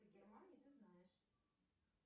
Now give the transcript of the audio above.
в германии ты знаешь